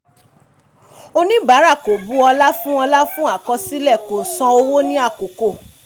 oníbàárà kò bu ọla fún ọla fún akọsilẹ̀ kò san owó ní àkókò.